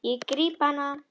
Ég gríp hana.